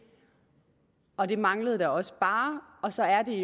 og det manglede da også bare og så er det